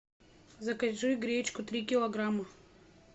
закажи гречку три килограмма